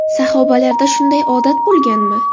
Sahobalarda shunaqa odat bo‘lganmi?